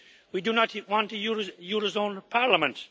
We do not want a eurozone parliament.